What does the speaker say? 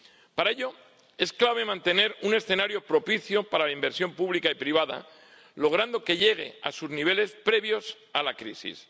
Para ello es clave mantener un escenario propicio para la inversión pública y privada, logrando que llegue a sus niveles previos a la crisis.